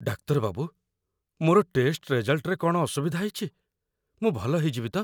ଡାକ୍ତର ବାବୁ, ମୋର ଟେଷ୍ଟ ରେଜଲ୍ଟରେ କ'ଣ ଅସୁବିଧା ହେଇଚି? ମୁଁ ଭଲ ହେଇଯିବି ତ?